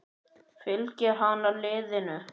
Fylgir hann liðinu?